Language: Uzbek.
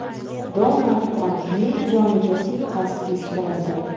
Donald Trampning joniga suiqasd uyushtirildi.